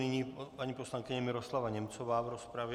Nyní paní poslankyně Miroslava Němcová v rozpravě.